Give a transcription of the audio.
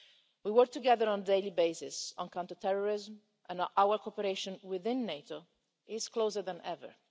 We work together on a daily basis on counterterrorism and our cooperation within NATO is closer than ever.